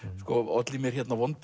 olli mér